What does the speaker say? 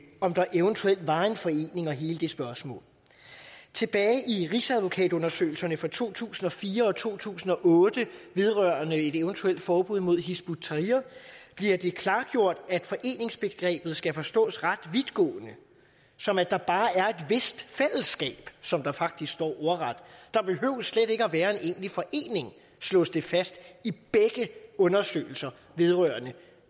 om der eventuelt var en forening og hele det spørgsmål tilbage i rigsadvokatundersøgelserne fra to tusind og fire og to tusind og otte vedrørende et eventuelt forbud mod hizb ut tahrir bliver det klargjort at foreningsbegrebet skal forstås ret vidtgående som at der bare er et vist fællesskab som der faktisk står ordret der behøver slet ikke at være en egentlig forening slås det fast i begge undersøgelser vedrørende